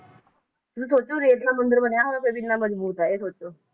ਤੁਸੀਂ ਸੋਚੋ ਰੇਤ ਦਾ ਮੰਦਿਰ ਬਣਿਆ ਹੋਇਆ ਫਿਰ ਵੀ ਇੰਨਾ ਮਜਬੂਤ ਹੈ, ਇਹ ਸੋਚੋ